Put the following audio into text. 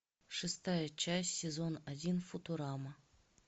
шестая часть сезон один футурама